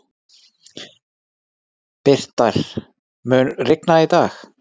Birtir, mun rigna í dag?